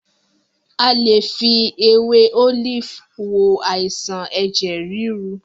A lè fi ewé Olive wo àìsàn ẹ̀jẹ̀ ríru.